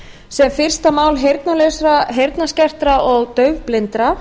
sem fyrsta mál heyrnarlausra heyrnarskertra og daufblindra